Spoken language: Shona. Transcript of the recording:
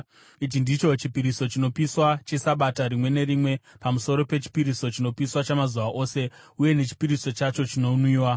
Ichi ndicho chipiriso chinopiswa cheSabata rimwe nerimwe, pamusoro pechipiriso chinopiswa chamazuva ose uye nechipiriso chacho chinonwiwa.